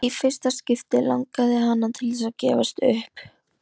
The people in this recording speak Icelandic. Í fyrsta skipti langaði hana til þess að gefast upp.